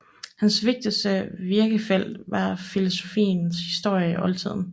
Hans vigtigste virkefelt var filosofiens historie i oldtiden